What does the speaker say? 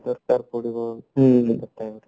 ଦରକାର ପଡିବ ହଁ